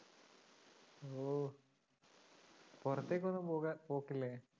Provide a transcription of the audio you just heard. ഓ പുറത്തേക്കൊന്നുംപോകാൻ, പോക്കില്ലേ?